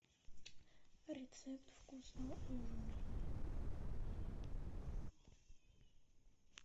рецепт вкусного ужина